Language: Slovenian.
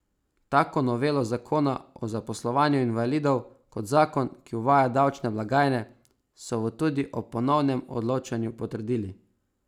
Tako novelo zakona o zaposlovanju invalidov kot zakon, ki uvaja davčne blagajne, so v tudi ob ponovnem odločanju potrdili.